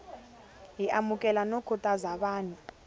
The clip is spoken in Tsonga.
hi amukela no khutaza vanhu